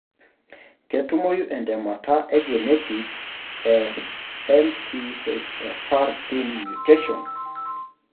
Ketumoyu entemata e Genetic e MTHFR gene mutations.